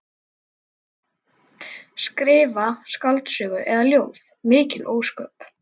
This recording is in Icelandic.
Skrifa skáldsögu eða ljóð, mikil ósköp.